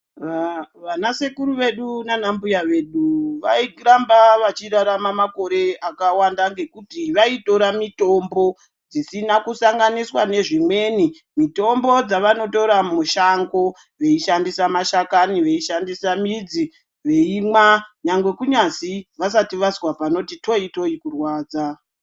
Vanasekuru vedu nanambuya vedu vairamba vachirarama makore akawanda ngekuti vaitora mitombo dzisina kusanganiswa nezvimweni. Mitombo dzavanotora mushango, veishandisa ,mashakani veishandisa midzi veimwa. Nyangwe kunyazi vasati vazwa panoti toyi toyi kurwadza.